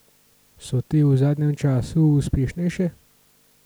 So te v zadnjem času uspešnejše?